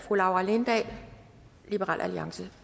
fru laura lindahl liberal alliance